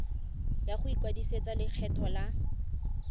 ya go ikwadisetsa lekgetho la